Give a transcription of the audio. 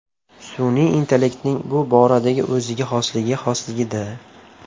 Sun’iy intellektning bu boradagi o‘ziga xosligi xolisligida.